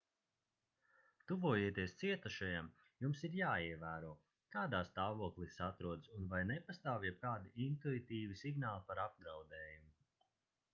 tuvojoties cietušajam jums ir jāievēro kādā stāvoklī tas atrodas un vai nepastāv jebkādi intuitīvi signāli par apdraudējumu